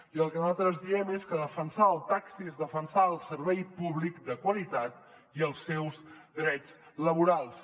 i el que nosaltres diem és que defensar el taxi és defensar el servei públic de qualitat i els seus drets laborals